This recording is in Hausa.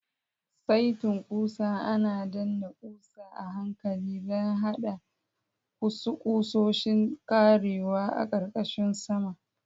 Saitin ƙusa ana danna ƙusa a hankali don haɗa ƙusoshin ƙarewa a ƙarƙashin saman.